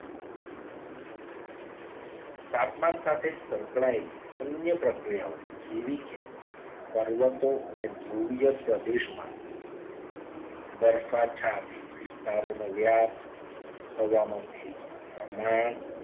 તાપમાન સાથે સંકળાયેલી અન્ય પ્રક્રિયાઓ જેવી કે પર્વતો અને ધ્રુવીય પ્રદેશમા દરફા છાતી વિસ્તારોનો વ્યાપ હવામાં ભેજનું પ્રમાણ